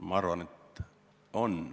Ma arvan, et on.